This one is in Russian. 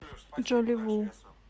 джоли ву